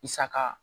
Saga